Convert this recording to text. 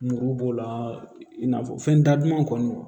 Muru b'o la i n'a fɔ fɛn daduman kɔni